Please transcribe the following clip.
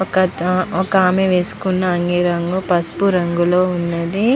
వక అత వక ఆమె వేసుకున్న అంగీ రంగు పసుపు రంగులో ఉన్నది.